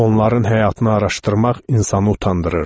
Onların həyatını araşdırmaq insanı utandırırdı.